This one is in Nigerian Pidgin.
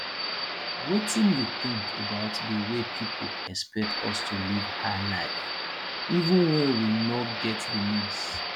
wetin you think about di way people expect us to live high life even when we no get di means